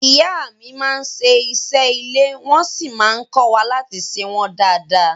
Ìyá mi máa n ṣe ìṣe ilé wọ́n sí má n kọ́wa láti ṣe wọ́n dada.